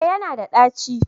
Eh ya na da ɗaci